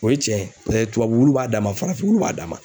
O ye cɛn ye paseke olu b'a dama farafinnɔgɔ b'a dama